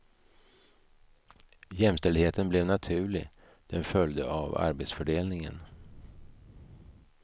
Jämställdheten blev naturlig, den följde av arbetsfördelningen.